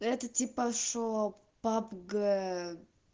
это типа шок пабг